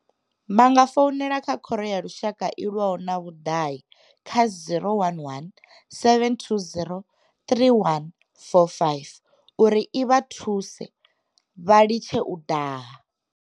Vha nga founela Khoro ya Lushaka I lwaho na Vhudahi kha 011 720 3145 uri i vha thuse vha litshe u daha.